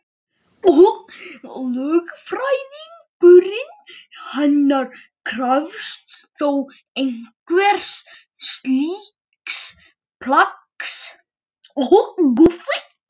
Lögfræðingurinn hennar krefst þó einhvers slíks plaggs.